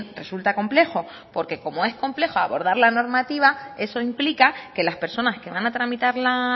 resulta complejo porque como es compleja abordar lo normativa eso implica que las personas que van a tramitar la